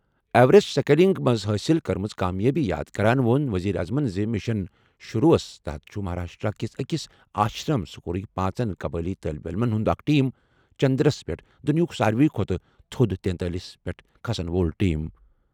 Everest scaling منٛز حٲصِل کٔرمٕژ کامیٲبی یاد کران ووٚن وزیر اعظمَن زِ مِشن شرو ہَس تحت چھُ مہاراشٹر کِس أکِس آشرم سکوٗلٕک پانٛژن قبٲئلی طالبہِ علمَن ہُنٛد اکھ ٹیم چندرَس پٮ۪ٹھ دُنیاہُک ساروِی کھۄتہٕ تھوٚد تینتٲلِس پٮ۪ٹھ کھسن وول ٹیم۔